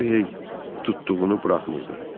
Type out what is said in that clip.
Röhiyey tutduğunu buraxmırdı.